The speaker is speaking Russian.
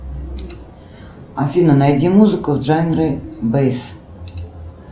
афина найди музыку в жанре бейс